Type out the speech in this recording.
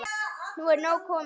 Nú er nóg komið.